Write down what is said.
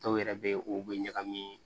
Dɔw yɛrɛ be u be ɲagami